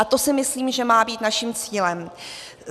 A to si myslím, že má být naším cílem.